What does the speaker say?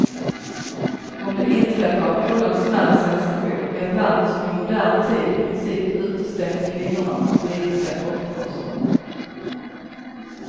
Om det inträffar vore det en smärre sensation i ett land som i modern tid i princip utestängt kvinnorna från politiska topposter.